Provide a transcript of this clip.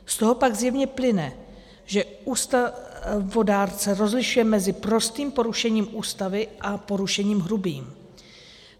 Z toho pak zjevně plyne, že ústavodárce rozlišuje mezi prostým porušením Ústavy a porušením hrubým.